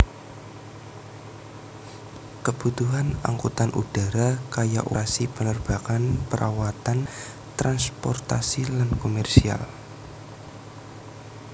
Kebutuhan angkutan udara kaya operasi penerbangan perawatan transportasi lan komersial